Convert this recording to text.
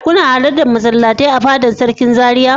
Kuna halartar masallatai a fada sarkin Zaria.